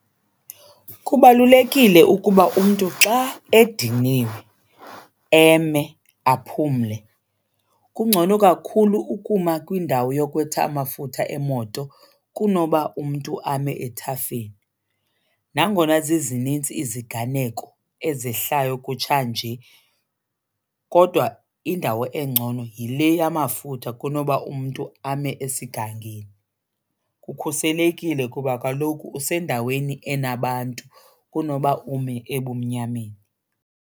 Kubalulekile ukuba umntu xa ediniwe eme aphumle. Kungcono kakhulu ukuma kwindawo yokhwetha amafutha emoto kunoba umntu ame ethafeni. Nangona zizininzi iziganeko ezihlayo kutshanje kodwa indawo engcono yile yamafutha kunoba umntu ame esingangeni. Kukhuselekile kuba kaloku usendaweni enabantu kunoba ume ebumnyameni.